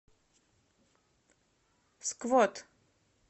сквот